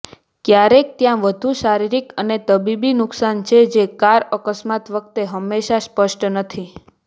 ક્યારેક ત્યાં વધુ શારીરિક અને તબીબી નુકસાન છે જે કાર અકસ્માત વખતે હંમેશા સ્પષ્ટ નથી